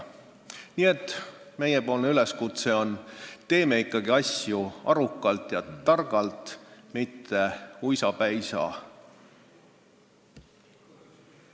Nii et meie üleskutse on: teeme ikkagi asju arukalt ja targalt, mitte uisapäisa!